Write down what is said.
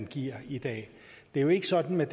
giver i dag det er jo ikke sådan med